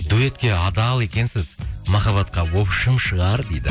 дуэтке адал екенсіз махаббатқа шығар дейді